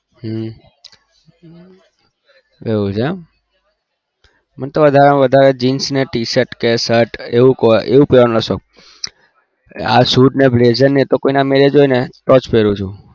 હમ એવું છે મને તો વધારે jeans t shirt કે shirt એવું પેરવાનો શોક આ suit blazer તો કોઈના marriage હોય તો જ પેરુ છુ